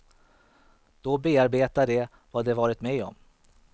Då bearbetar de vad de varit med om.